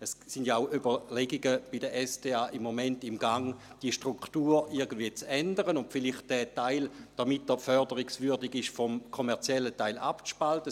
Im Moment sind ja bei der SDA auch Überlegungen im Gang, die Struktur irgendwie zu ändern und den entsprechenden Teil, damit er förderungswürdig ist, vielleicht vom kommerziellen Teil abzuspalten.